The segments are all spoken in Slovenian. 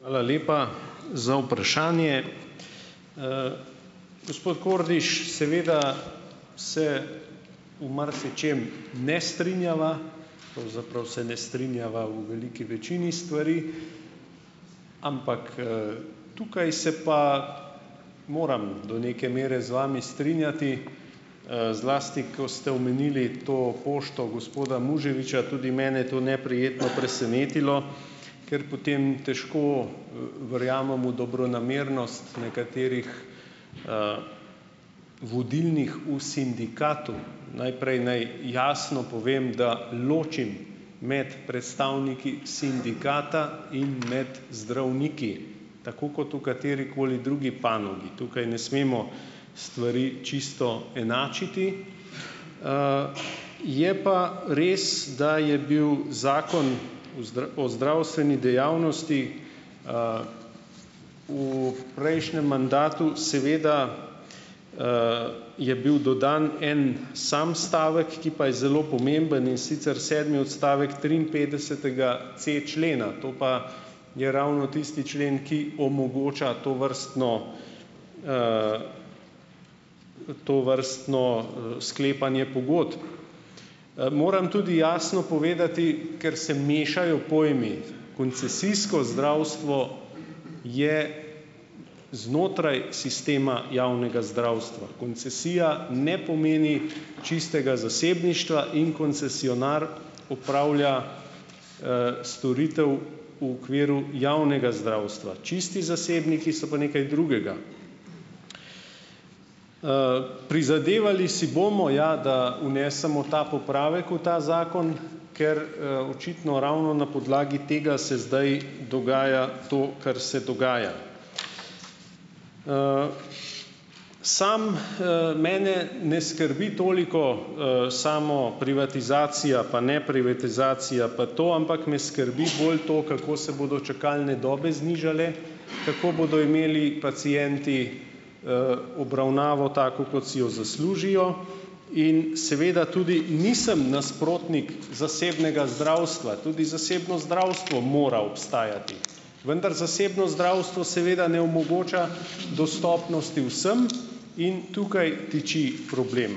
Hvala lepa za vprašanje. Gospod Kordiš, seveda se v marsičem ne strinjava, pravzaprav se ne strinjava v veliki večini stvari, ampak, tukaj se pa moram do neke mere z vami strinjati, zlasti ko ste omenili to pošto gospoda Muževiča. Tudi mene je to neprijetno presenetilo, ker potem težko, verjamem v dobronamernost nekaterih, vodilnih v sindikatu. Najprej naj jasno povem, da ločim med predstavniki sindikata in med zdravniki, tako kot v katerikoli drugi panogi. Tukaj ne smemo stvari čisto enačiti, je pa res, da je bil Zakon o o zdravstveni dejavnosti, v prejšnjem mandatu, seveda, je bil dodan en sam stavek, ki pa je zelo pomemben, in sicer, sedmi odstavek triinpetdesetega c člena, to pa, je ravno tisti člen, ki omogoča tovrstno, tovrstno, sklepanje pogodb. Moram tudi jasno povedati, ker se mešajo pojmi koncesijsko zdravstvo je znotraj sistema javnega zdravstva, koncesija ne pomeni čistega zasebništva in koncesionar opravlja, storitev v okviru javnega zdravstva, čisti zasebniki so pa nekaj drugega. Prizadevali si bomo, ja, da vnesemo ta popravek v ta zakon, ker, očitno ravno na podlagi tega se zdaj dogaja to, kar se dogaja. Samo, mene ne skrbi toliko, samo privatizacija, pa neprivatizacija, pa to, ampak me skrbi bolj to, kako se bodo čakalne dobe znižale, kako bodo imeli pacienti, obravnavo tako, kot si jo zaslužijo, in seveda tudi nisem nasprotnik zasebnega zdravstva. Tudi zasebno zdravstvo mora obstajati. Vendar zasebno zdravstvo seveda ne omogoča dostopnosti vsem in tukaj tiči problem.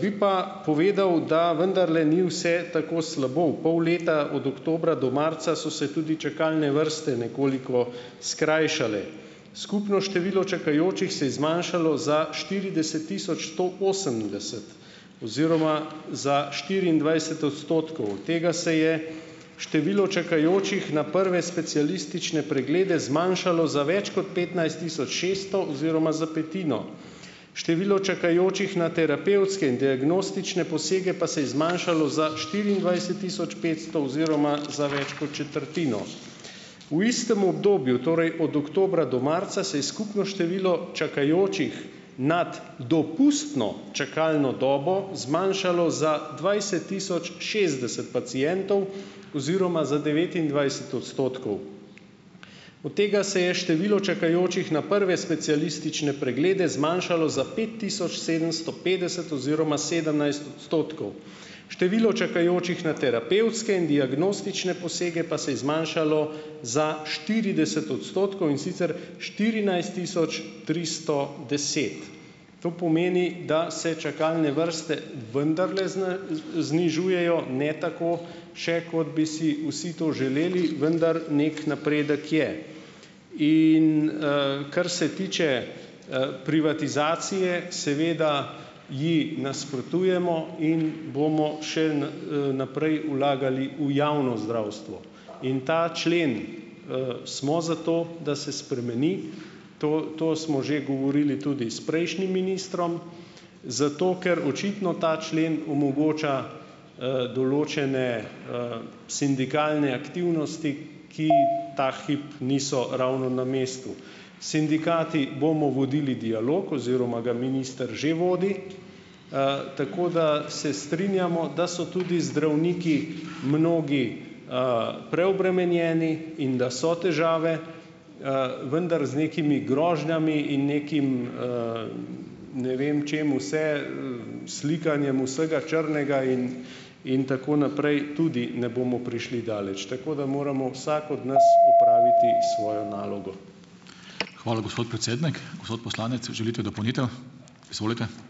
Bi pa povedal, da vendarle ni vse tako slabo. U pol leta, od oktobra do marca, so se tudi čakalne vrste nekoliko skrajšale. Skupno število čakajočih se je zmanjšalo za štirideset tisoč sto osemdeset oziroma za štiriindvajset odstotkov. Od tega se je število čakajočih na prve specialistične preglede zmanjšalo za več kot petnajst tisoč šeststo oziroma za petino. Število čakajočih na terapevtske in diagnostične posege pa se je zmanjšalo za štiriindvajset tisoč petsto oziroma za več kot četrtino. V istem obdobju, torej od oktobra do marca, se je skupno število čakajočih nad dopustno čakalno dobo zmanjšalo za dvajset tisoč šestdeset pacientov oziroma za devetindvajset odstotkov. Od tega se je število čakajočih na prve specialistične preglede zmanjšalo za pet tisoč sedemsto petdeset oziroma sedemnajst odstotkov. Število čakajočih na terapevtske in diagnostične posege pa se je zmanjšalo za štirideset odstotkov, in sicer, štirinajst tisoč tristo deset. To pomeni, da se čakalne vrste vendarle znižujejo, ne tako še, kot bi si vsi to želeli, vendar, neki napredek je in, kar se tiče, privatizacije, seveda ji nasprotujemo in bomo še naprej vlagali v javno zdravstvo. In ta člen, smo za to, da se spremeni. To to smo že govorili tudi s prejšnjim ministrom, zato ker očitno ta člen omogoča, določene, sindikalne aktivnosti, ki ta hip niso ravno na mestu. S sindikati bomo vodili dialog oziroma ga minister že vodi, tako da se strinjamo, da so tudi zdravniki, mnogi, preobremenjeni in da so težave, vendar z nekimi grožnjami in nekim, ne vem čim vse, slikanjem vsega črnega in in tako naprej, tudi ne bomo prišli daleč, tako da moramo vsak od nas opraviti svojo nalogo. Hvala, gospod predsednik, gospod poslanec želite dopolnitev. Izvolite.